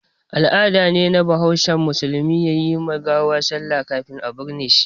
Al'ada ne na bahaushe musulmai yi ma gawa sallah kafin a binne shi.